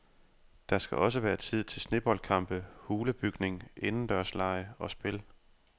Der skal også være tid til sneboldkampe, hulebygning, indendørslege og spil.